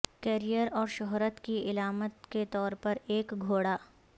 career اور شہرت کی علامت کے طور پر ایک گھوڑا